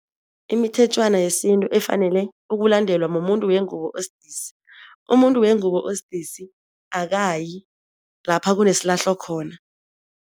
Imithetjhwana yesintu efanelwe ukulandelwa mumuntu wengubo osidisi. Umuntu wengubo osidisi akayi lapha kunesilahlo khona.